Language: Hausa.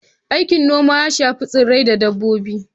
Aikin noma ya shafi tsirrai da dabbobi.